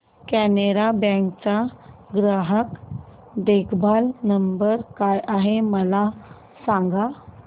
Canara bank चा ग्राहक देखभाल नंबर काय आहे मला सांगा